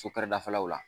So kɛrɛdafɛlaw la